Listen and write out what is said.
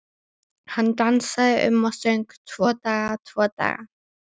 Hann dansaði um og söng: Tvo daga, tvo daga